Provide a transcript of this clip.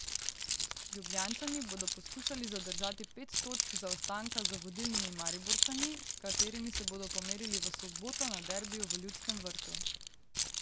Ljubljančani bodo poskušali zadržati pet točk zaostanka za vodilnimi Mariborčani, s katerimi se bodo pomerili v soboto na derbiju v Ljudskem vrtu.